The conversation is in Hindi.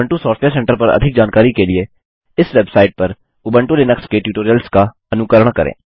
उबंटू सॉफ्टवेयर सेंटर पर अधिक जानकारी के लिए इस वेबसाइट पर उबंटू लिनक्स के टयूटोरियल्स का अनुकरण करें